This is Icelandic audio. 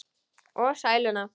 Og sæluna.